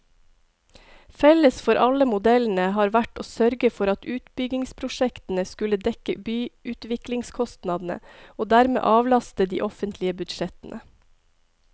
Felles for alle modellene har vært å sørge for at utbyggingsprosjektene skulle dekke byutviklingskostnadene, og dermed avlaste de offentlige budsjettene.